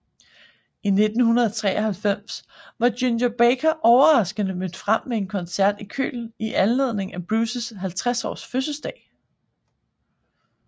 I 1993 var Ginger Baker overraskende mødt frem ved en koncert i Köln i anledning af Bruces 50 års fødselsdag